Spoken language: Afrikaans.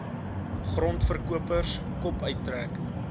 grondverkopers kop uittrek